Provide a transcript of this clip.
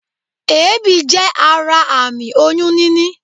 Èébì jé ara àmì oyún níní